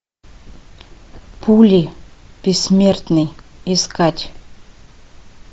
пули бессмертный искать